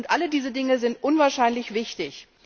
Alle diese Dinge sind unwahrscheinlich wichtig.